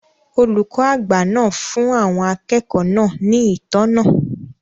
Olùkọ́ àgbà náà fún àwọn akẹ́kọ̀ọ́ náà ní ìtọ́nà